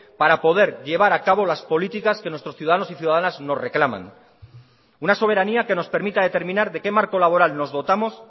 para poder llevar a cabo las políticas que nuestros ciudadanos y ciudadanas nos reclaman una soberanía que nos permita determinar de qué marco laboral nos dotamos